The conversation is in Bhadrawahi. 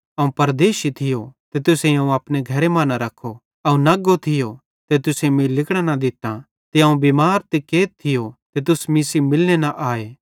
अवं परदेशी थियो ते तुसेईं अवं अपने घरे मां न रख्खो अवं नग्गो थियो ते तुसेईं मीं लिगड़ां न दित्तां ते अवं बिमार ते कैद थियो ते तुस मीं सेइं मिलने न आए